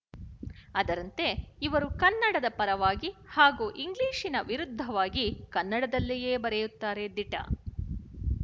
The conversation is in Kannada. ಅದರಂತೆ ಇವರು ಕನ್ನಡದ ಪರವಾಗಿ ಹಾಗೂ ಇಂಗ್ಲಿಶಿನ ವಿರುದ್ಧವಾಗಿ ಕನ್ನಡದಲ್ಲಿಯೇ ಬರೆಯುತ್ತಾರೆ ದಿಟ